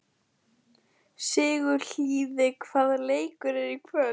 Sigurliði, hvaða leikir eru í kvöld?